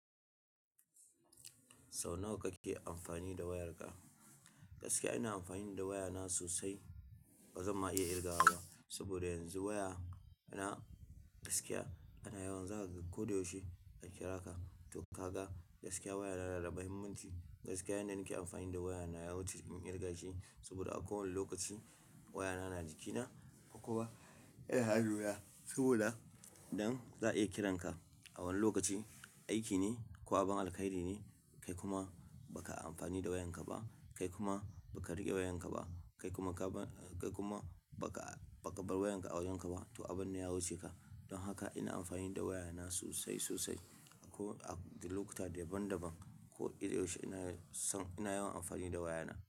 Sau nawa kake amfani da wayarka? Gaskiya ina amfani da wayana sosai. Ba zan ma iya kirgawa ba. Saboda yanzu waya na gaskiya ana yawan zaka ga ko da yaushe a kira ka. To ka ga gaskiya waya na na da muhimmanci. Gaskiya yan da ni ke amfani da wayana yawuce in kirga shi saboda a kowane lokaci wayana na jikina ko kuma yana hanuna. Saboda dan za iya kiran ka a wani lokaci aiki ne ko abin alheri ne. Kai kuma ba ka amfani da wayanka ba, kai kuma ba ka riƙe wayanka ba, kai kuma ka ba-- kai kuma ba ka, ba ka bar wayanka a wajenka ba to abin na ya wuce ka. Don haka ina amfani da wayana sosai, sosai ko a lokuta daban daban ko iya yaushe ina son ina yawan amfani da wayana.